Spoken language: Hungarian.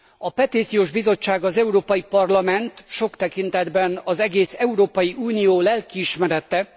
A Petíciós Bizottság az Európai Parlament, sok tekintetben az egész Európai Unió, lelkiismerete.